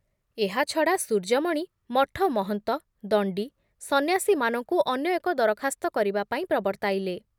ଏହା ଛଡ଼ା ସୂର୍ଯ୍ୟମଣି ମଠ ମହନ୍ତ, ଦଣ୍ଡୀ, ସନ୍ନ୍ୟାସୀମାନଙ୍କୁ ଅନ୍ୟ ଏକ ଦରଖାସ୍ତ କରିବା ପାଇଁ ପ୍ରବର୍ତ୍ତାଇଲେ ।